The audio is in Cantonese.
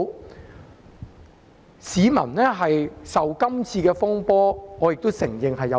我承認市民受這次風波影響。